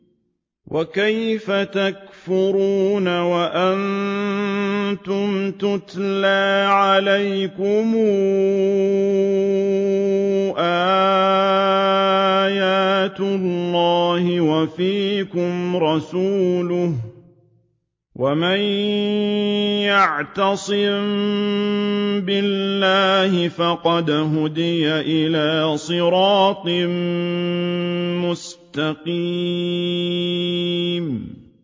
وَكَيْفَ تَكْفُرُونَ وَأَنتُمْ تُتْلَىٰ عَلَيْكُمْ آيَاتُ اللَّهِ وَفِيكُمْ رَسُولُهُ ۗ وَمَن يَعْتَصِم بِاللَّهِ فَقَدْ هُدِيَ إِلَىٰ صِرَاطٍ مُّسْتَقِيمٍ